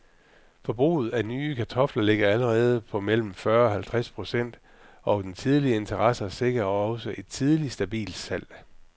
Forbruget af nye kartofler ligger allerede på mellem fyrre og halvtreds procent, og den tidlige interesse sikrer også et tidligt, stabilt salg.